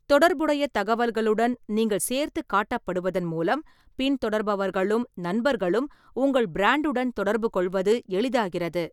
தொடர்புடைய தகவல்களுடன் நீங்கள் சேர்த்துக் காட்டப்படுவதன் மூலம் பின்தொடர்பவர்களும் நண்பர்களும் உங்கள் பிராண்டுடன் தொடர்புகொள்வது எளிதாகிறது.